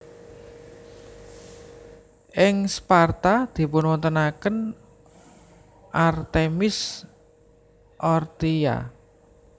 Ing Sparta dipunwontenaken Artemis Orthia